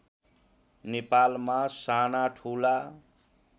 नेपालमा साना ठुला